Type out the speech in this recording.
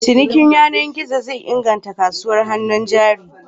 Cinikin yanar gizo zai inganta kasuwar hannun jari.